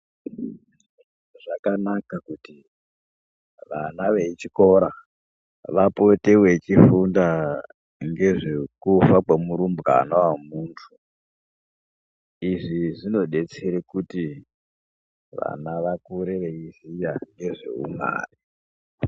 Zvakanaka kuti vana vechikora vapote vechifunda ngezvekufa kwemurumbwana wemuntu izvi zvinodetsere kuti vana vakure veiziya ngezveuMwari.